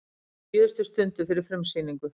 Á síðustu stundu fyrir frumsýningu